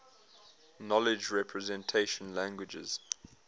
knowledge representation languages